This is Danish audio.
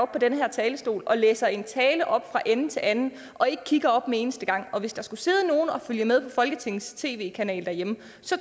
på den her talerstol og læser en tale op fra ende til anden og ikke kigger op en eneste gang og hvis der skulle sidde nogen og følge med derhjemme folketingets tv kanal